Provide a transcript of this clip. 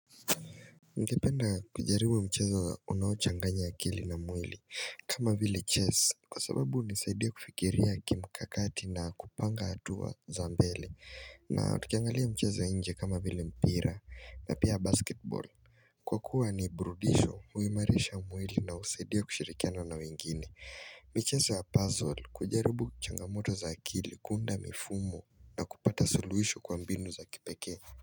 Ningenda kujaribu mchezo unaochanganya akili na mwili kama vile chess kwa sababu hunisaidia kufikiria kimkakati na kupanga hatua za mbele na tukiangalia mchezo ya nje kama vile mpira na pia basketball Kwa kuwa ni burudisho huimarisha mwili na husaidia kushirikiana na wengine michezo ya puzzle kujaribu changamoto za akili kuunda mifumo na kupata suluhisho kwa mbinu za kipekee.